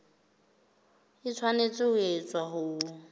e tshwanetse ho etswa ho